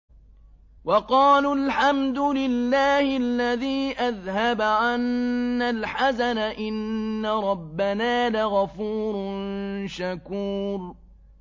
وَقَالُوا الْحَمْدُ لِلَّهِ الَّذِي أَذْهَبَ عَنَّا الْحَزَنَ ۖ إِنَّ رَبَّنَا لَغَفُورٌ شَكُورٌ